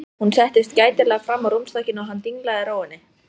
Hún settist gætilega fram á rúmstokkinn og hann dinglaði rófunni.